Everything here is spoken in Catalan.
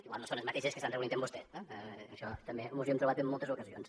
igual no són les mateixes que s’han reunit amb vostè això també ens ho hem trobat en moltes ocasions